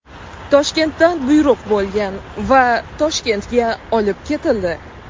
Toshkentdan buyruq bo‘lgan va Toshkentga olib ketildi.